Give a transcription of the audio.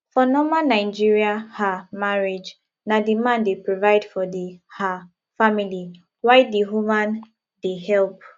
for normal nigerian um marriage na di man dey provide for di um family while di woman dey help